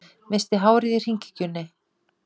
Missti hárið í hringekjunni